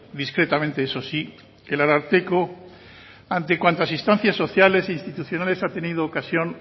discretamente eso sí el ararteko ante cuantas instancias sociales e institucionales ha tenido ocasión